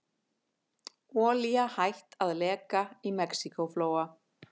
Olía hætt að leka í Mexíkóflóa